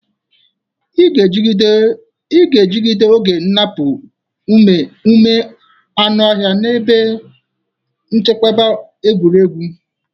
Ị ga-ejide oge nnapu ume anụ ọhịa na ebe nchekwa egwuregwu.